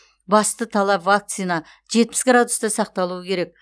басты талап вакцина жетпіс градуста сақталуы керек